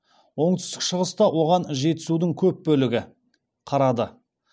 оңтүстік шығыста оған жетісудың көп бөлігі қарады